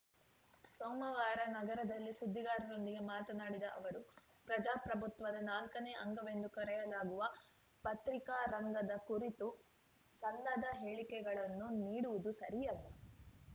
ಸೋಮವಾರ ನಗರದಲ್ಲಿ ಸುದ್ದಿಗಾರರೊಂದಿಗೆ ಮಾತನಾಡಿದ ಅವರು ಪ್ರಜಾಪ್ರಭುತ್ವದ ನಾಲ್ಕನೇ ಅಂಗವೆಂದು ಕರೆಯಲಾಗುವ ಪತ್ರಿಕಾ ರಂಗದ ಕುರಿತು ಸಲ್ಲದ ಹೇಳಿಕೆಗಳನ್ನು ನೀಡುವುದು ಸರಿಯಲ್ಲ